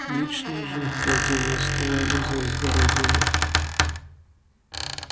личные же их владения стояли за изгородями